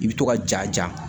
I bɛ to ka ja